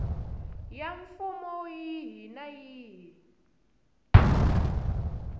ya mfumo yihi na yihi